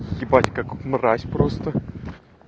ебать как мразь просто